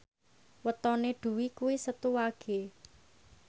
wetone Dwi kuwi Setu Wage